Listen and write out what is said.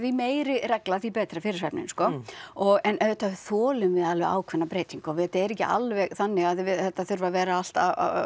meiri regla því betra fyrir svefninn sko og en auðvitað þolum við alveg ákveðna breytingu og þetta er ekki alveg þannig að við þetta þurfi að vera alltaf